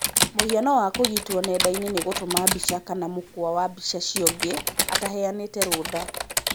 mũhano wa kũũgitwo nenda-inĩ nĩ gũtũma mbica kana mũkwa wa mbica ciongĩ ataheyanĩte rũtha.